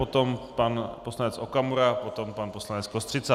Potom pan poslanec Okamura, potom pan poslanec Kostřica.